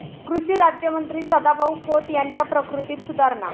कृषी राज्यमंत्री सदाभाऊ खोत यांच्या प्रकृतीत सुधारणा